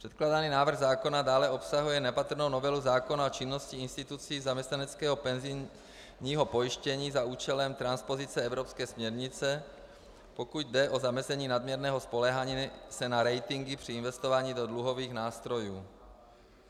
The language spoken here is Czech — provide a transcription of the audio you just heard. Předkládaný návrh zákona dále obsahuje nepatrnou novelu zákona o činnosti institucí zaměstnaneckého penzijního pojištění za účelem transpozice evropské směrnice, pokud jde o zamezení nadměrného spoléhání se na ratingy při investování do dluhových nástrojů.